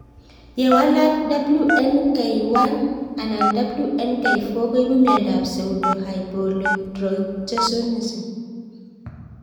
Ye walak WNK1 anan WNK4 koipu miondop pseudohypoaldosteronism